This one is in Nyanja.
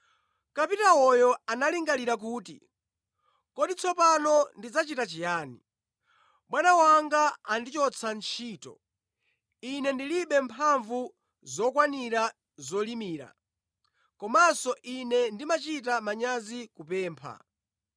“Kapitawoyo analingalira kuti, ‘Kodi tsopano ndidzachita chiyani? Bwana wanga andichotsa ntchito. Ine ndilibe mphamvu zokwanira zolimira, komanso ine ndimachita manyazi kupempha.